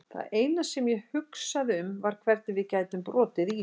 Það eina sem ég hugsaði um var hvernig við gætum brotið ísinn.